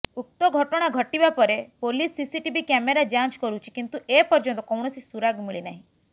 ଉକ୍ତ ଘଟଣା ଘଟିବା ପରେ ପୋଲିସ ସିସିଟିଭି କ୍ୟାମେରା ଯାଞ୍ଚ କରୁଛି କିନ୍ତୁ ଏପର୍ଯ୍ୟନ୍ତ କୌଣସି ସୁରାଗ ମିଳିନାହିଁ